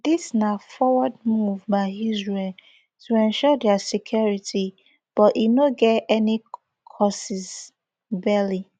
dis na forward move by israel to ensure dia security but e no get any casus belli